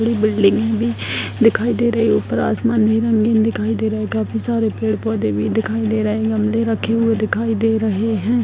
बड़ी बिल्डिंग है दिखाई दे रही है उपर आसमान में रंगीन दिखाई दे रहा है काफी सारे पेड़-पौधे भी दिखाई दे रहे है गमले रखे हुए दिखाई दे रहे हैं।